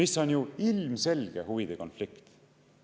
See on ju ilmselge huvide konflikt.